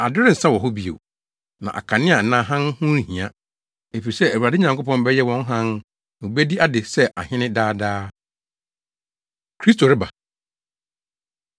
Ade rensa wɔ hɔ bio, na akanea anaa hann ho nhia, efisɛ Awurade Nyankopɔn bɛyɛ wɔn hann na wobedi ade sɛ ahene daa daa. Kristo Reba